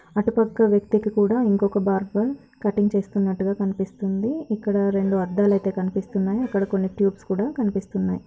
అటు పక్క వ్యక్తికి కుడా ఇంకో బార్బర్ కటింగ్ చేస్తునటుగా కనిపిస్తూంది ఇక్కడ రెండు అద్దాలు అయితే కనిపిస్తునాయి ఇక్కడ కొని ట్యూబ్స్ కుడా కనిపిస్తునాయి